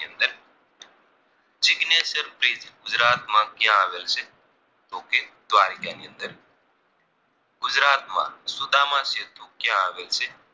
માં ક્યાં આવેલ છે તો કે દ્વારકાની અંદર ગુજરાતમાં સુદામા સીધું ક્યાં આવેલ છે